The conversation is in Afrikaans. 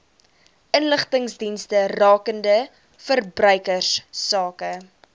inligtingsdienste rakende verbruikersake